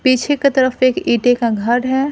पीछे के तरफ एक ईटे का घर है।